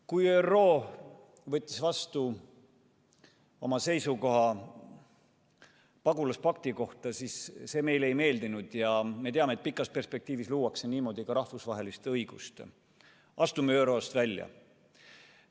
Kui ÜRO võttis vastu oma seisukoha pagulaspakti kohta, siis see meile ei meeldinud ja me teame, et pikas perspektiivis luuakse niimoodi ka rahvusvahelist õigust – astume ÜRO-st välja.